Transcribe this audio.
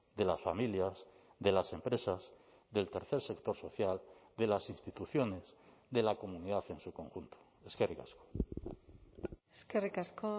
de las familias de las empresas del tercer sector social de las instituciones de la comunidad en su conjunto eskerrik asko eskerrik asko